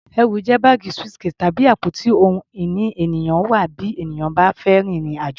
Ẹrù jẹ́ báàgì, suitcase, tàbí àpò tí ohun ìní ènìyàn wà bí ènìyàn bá fẹ́ rin ìrìn-àjò.